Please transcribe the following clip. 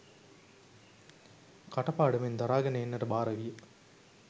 කට පාඩමෙන් දරාගෙන එන්නට භාර විය.